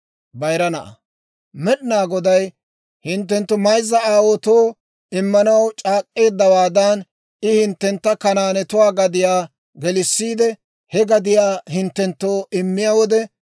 «Med'inaa Goday hinttenttunne hinttenttu mayza aawaatoo immanaw c'aak'k'eeddawaadan, I hinttentta Kanaanetuwaa gadiyaa gelissiide, he gadiyaa hinttenttoo immiyaa wode,